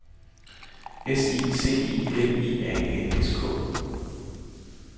S I C I L I A N S K